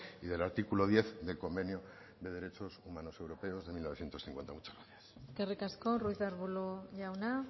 y del artículo diez del convenio de derechos humanos europeos de mil novecientos cincuenta muchas gracias eskerrik asko ruiz de arbulo jauna